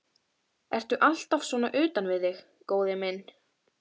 Ertu alltaf svona utan við þig, góði minn?